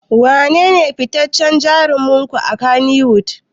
Wanene fitaccen jarumin ku a Kannywood?